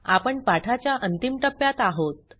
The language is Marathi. आपण पाठाच्या अंतिम टप्प्यात आहोत